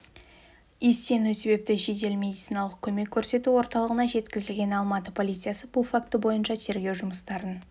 иістену себепті жедел медициналық көмек көрсету орталығына жеткізілген алматы полициясы бұл факті бойынша тергеу жұмыстарын